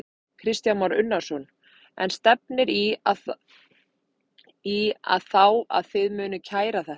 Kristján Már Unnarsson: En stefnir í að þá að þið munið kæra þetta?